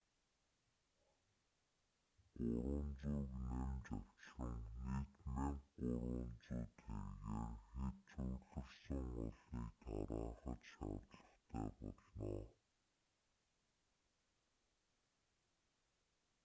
300-г нэмж авчран нийт 1,300 тэргээр хэт цугларсан олныг тараахад шаардлагатай болно